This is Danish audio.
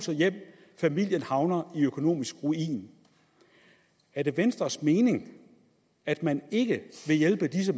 familierne havner i økonomisk ruin er det venstres mening at man ikke vil hjælpe disse